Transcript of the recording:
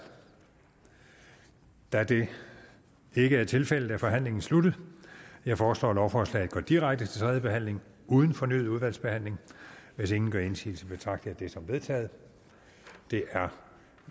da det ikke er tilfældet er forhandlingen sluttet jeg foreslår at lovforslaget går direkte til tredje behandling uden fornyet udvalgsbehandling hvis ingen gør indsigelse betragter jeg det som vedtaget det er